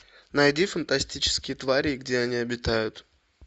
найди фантастические твари и где они обитают